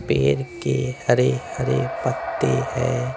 पेर के हरे-हरे पत्ते हैं।